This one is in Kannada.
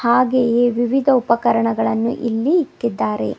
ಹಾಗೆಯೆ ವಿವಿಧ ಉಪಕರಣಗಳನ್ನು ಇಲ್ಲಿ ಇಕ್ಕಿದ್ದಾರೆ.